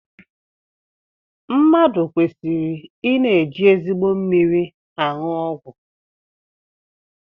Mmadụ kweriri I na-eji ezigbo mmiri anụ ọgwụ